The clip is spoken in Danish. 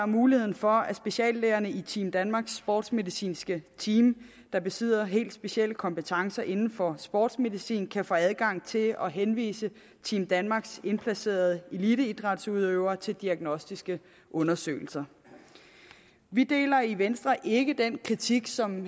muligheden for at speciallægerne i team danmarks sportsmedicinske team der besidder helt specielle kompetencer inden for sportsmedicin kan få adgang til at henvise team danmarks indplacerede eliteidrætsudøvere til diagnostiske undersøgelser vi deler i venstre ikke den kritik som